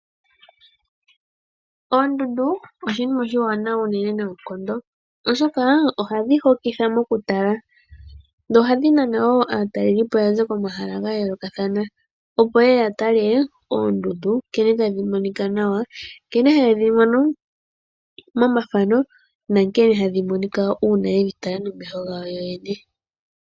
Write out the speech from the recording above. Oondundu oshinima oshiwanawa noonkondo, oshoka ohadhi hokitha mokutala nohadhi naana wo aataleli po yaza komahala ga yoolokathana yeye ya tale oondundu nkene tadhi monika nawa nkene haye dhi mono momafano nankene hadhi monika uuna yedhi tala nomeho gawo yo yene.